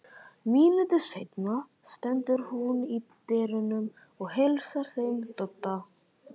Mínútu seinna stendur hún í dyrunum og heilsar þeim Dodda.